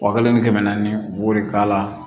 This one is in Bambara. Wa kelen ni kɛmɛ naani u b'o de k'a la